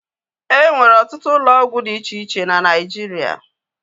E nwere ọtụtụ ụlọ ọgwụ dị iche iche na Naijiria